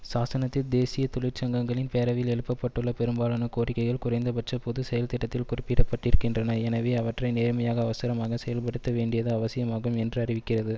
சாசனத்தில் தேசிய தொழிற்சங்கங்களின் பேரவையின் எழுப்பப்பட்டுள்ள பெரும்பாலான கோரிக்கைகள் குறைந்தபட்ச பொது செயல்திட்டத்தில் குறிப்பிடப்பட்டிருக்கின்றன எனவே அவற்றை நேர்மையாக அவசரமாக செயல்படுத்த வேண்டியது அவசியமாகும் என்று அறிவிக்கிறது